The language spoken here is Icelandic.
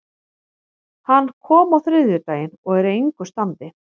Hann kom á þriðjudaginn og er í engu standi.